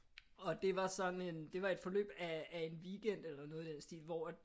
Og det var sådan en det var et forløb af af en weekend eller noget i den stil hvor at det